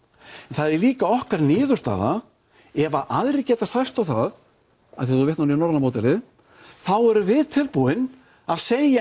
það er líka okkar niðurstaða ef að aðrir geta sæst á það af því að þú vitnar nú í norræna módelið þá erum við tilbúin að segja